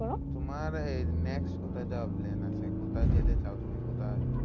তোমার এই next কোথায় যাওয়ার plan আছে? কোথায় যেতে চাও তুমি কোথায়?